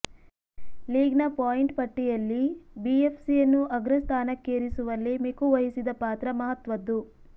ಲೀಗ್ನ point ಪಟ್ಟಿಯಲ್ಲಿ ಬಿಎಫ್ಸಿಯನ್ನು ಅಗ್ರ ಸ್ಥಾನಕ್ಕೇರಿಸುವಲ್ಲಿ ಮಿಕು ವಹಿಸಿದ ಪಾತ್ರ ಮಹತ್ವದ್ದು